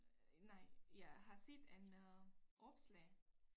Øh nej jeg har set en øh opslag